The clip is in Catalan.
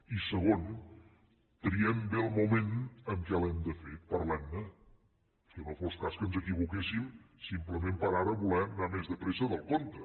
i segon triem bé el moment en què l’hem de fer parlem ne que no fos cas que ens equivoquéssim simplement per ara voler anar més de pressa del compte